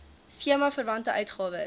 skema verwante uitgawes